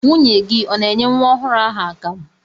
Nwunye gị ọ na-enye nwa ọhụrụ ahụ akamụ?